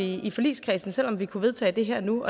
i forligskredsen selv om vi kunne vedtage det her og nu